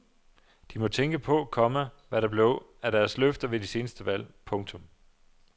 De må tænke på, komma hvad der blev af deres løfter ved de seneste valg. punktum